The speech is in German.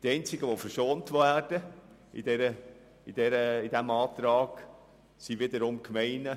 Die einzigen, die von diesem Antrag verschont bleiben, sind wiederum die Gemeinden.